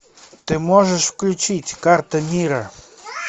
ты можешь включить карта мира